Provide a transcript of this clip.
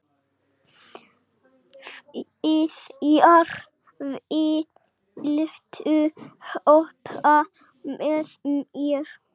Viðjar, viltu hoppa með mér?